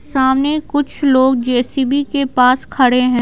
सामने कुछ लोग जे_सी_बी के पास खड़े हैं।